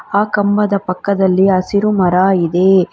ಆ ಕಂಬದ ಪಕ್ಕದಲ್ಲಿ ಹಸಿರು ಮರ ಇದೆ.